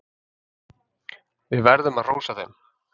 Við verðum að hrósa þeim.